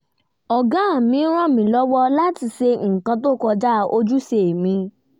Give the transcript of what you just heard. ọ̀gá mi rán mi lọ́wọ́ láti ṣe nǹkan tó kọjá ojúṣe mi